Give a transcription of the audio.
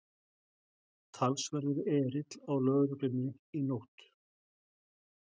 Talsverður erill á lögreglunni í nótt